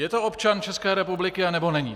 Je to občan České republiky, anebo není?